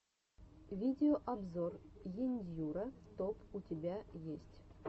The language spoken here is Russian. видеообзор ендьюро топ у тебя есть